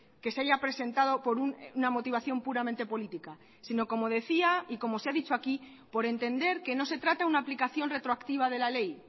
que se haya presentado por una motivación puramente política sino como decía y como se ha dicho aquí por entender que no se trata de una aplicación retroactiva de la ley